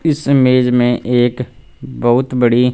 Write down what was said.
इस इमेज में एक बहुत बड़ी--